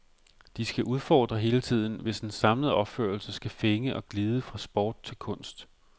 De skal udfordre hele tiden, hvis en samlet opførelse skal fænge og glide fra sport til kunst.